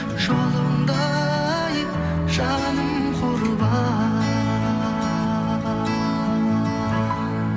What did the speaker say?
жолыңда ай жаным құрбан